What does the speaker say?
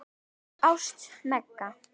Ást, Megan.